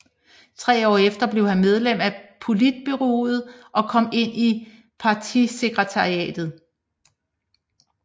Tre år efter blev han medlem af politbureauet og kom ind i partisekretariatet